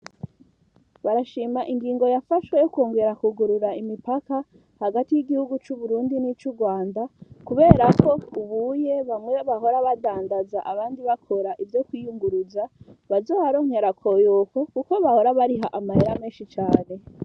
Barashima ingingo yafashwe yo kongera ku gurura imipaka hagati y'igihugu cu Burundi nicu Rwanda kuberko ubuye bamwe bahora badndaza abandi bakora ivyo kwiyunguruza bazohronkera akoyoko kuko bahora bariha amahera meshi cane.